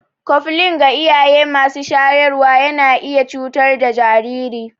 Koflin ga iyaye masu shayarwa yana iya cutar da jariri.